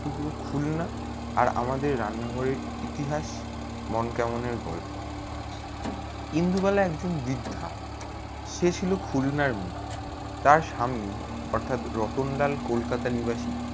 তবে খুলনা আর আমাদের রান্নাঘরে ইতিহাস মন কেমনে গল্প ইন্দুবালা এক জন বৃদ্ধা সে ছিল খুলনার মে তার স্বামী অর্থাৎ রতনলাল কলকাতা নিবাসী